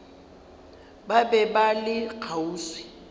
ba be ba le kgauswi